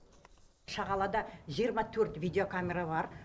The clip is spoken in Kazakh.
шағалада жиырма төрт видеокамера бар